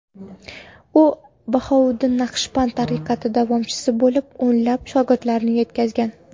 U Bahouddin Naqshband tariqati davomchisi bo‘lib, o‘nlab shogirdlar yetkazgan.